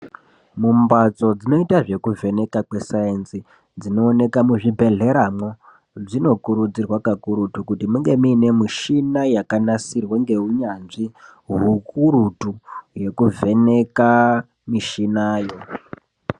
Mumbasto dzinoita zvekuvheneka kweSaenzi dzinooneka muzvibhedhera mwo dzinokurudzirwa kakurutu kuti munge muine mushina yakanasirwa ngeunyanzvi hwukurutu yekuvheneka mushina yo.